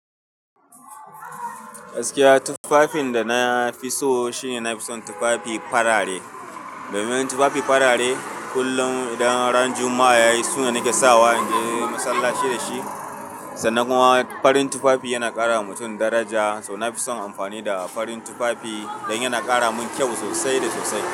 Gaskiya tufafin da na fi so shine na fi son tufafi farare. Domin tufafi farare kullum idan ran Juma'a ya yi suna nake sawa in je masallaci da shi. Sannan kuma farin tufafi yana ƙara wa mutum daraja, so na fi son amfani da farin tufafi dan yana ƙara min kyau sosai da sosai.